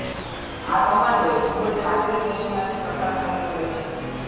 આ કમાન્ડોએ ખુબ જ આકરી ટ્રેનિંગમાંથી પસાર થવું પડે છે